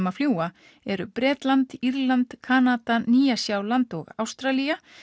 að fljúga eru Bretland Írland Kanada Nýja Sjáland og Ástralía